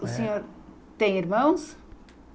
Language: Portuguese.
O senhor tem irmãos?